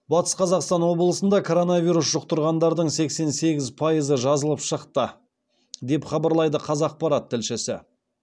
батыс қазақстан облысында коронавирус жұқтырғандардың сексен сегіз пайызы жазылып шықты деп хабарлайды қазақпарат тілшісі